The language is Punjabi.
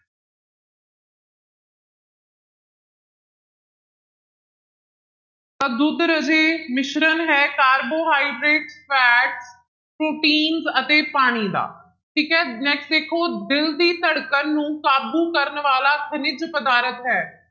ਤਾਂ ਦੁੱਧ ਰਾਜੇ ਮਿਸ਼ਰਣ ਹੈ ਕਾਰਬੋਹਾਈਡ੍ਰੇਟ fat ਪ੍ਰੋਟੀਨ ਅਤੇ ਪਾਣੀ ਦਾ, ਠੀਕ ਹੈ next ਦੇਖੋ ਦਿਲ ਦੀ ਧੜਕਣ ਨੂੰ ਕਾਬੂ ਕਰਨ ਵਾਲਾ ਖਣਿਜ ਪਦਾਰਥ ਹੈ।